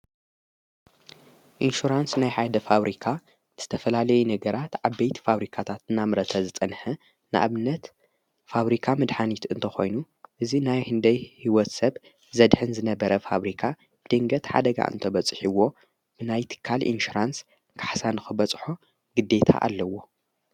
ኢንሹራንስ ናይ ሓደ ፋብሪካ ዝተፈላለዩ ነገራት ዓበይቲ ፋብሪካታት እናምረተ ዝፀንሀ ንአብነት ፋብሪካ ምድሓኒት እንተኾይኑ እዙይ ናይ ህንደይ ሕይወት ሰብ ዘድሕን ዝነበረ ፋብሪካ ብድንገት ሓደጋ እንተ በጽሒይዎ ናይ ትካል ኢንሹራንስ ካሕሳ ንኽበፅሖ ግዲታ ኣለዎ።